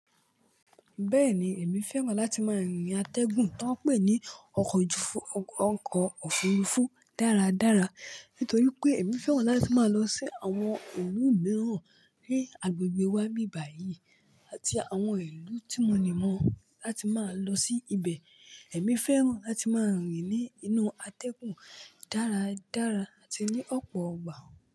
Bẹ́ẹ̀ni, èmi fẹ́ràn láti máa rìnrìn-àtẹ́gùn tó ń pè ní ọkọ̀ ojufuru- oko òfurufú dáradára nítorí pé èmi fẹ́ràn láti máa lọ sí àwọn ilu mìíràn ní agbègbè wa nbibàyí àti àwọn ìlú tí mo níi mọ̀ láti máa lọ sí ibẹ̀. Èmi fẹ́ràn láti máa rìnrìn-ínú atẹ́gùn dáradára àti ní ọ̀pọ̀ ọgbà.